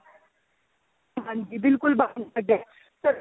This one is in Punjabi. ਹਾਂਜੀ ਬਿਲਕੁਲ ਬਾਹਰ ਨਹੀਂ ਕੱਢਿਆ ਪਰ